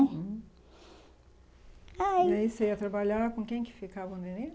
uhum, ai, E aí você ia trabalhar com quem que ficava o neném?